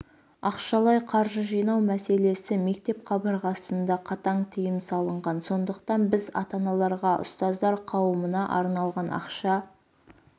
ақшалай қаржы жинау мәселесі мектеп қабырғасында қатаң тыйым салынған сондықтан біз ата-аналарға ұстаздар қауымына арналған ақша